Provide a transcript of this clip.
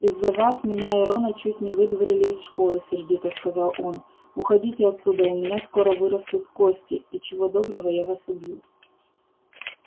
из-за вас меня и рона чуть не выдворили из школы сердито сказал он уходите отсюда у меня скоро вырастут кости и чего доброго я вас убью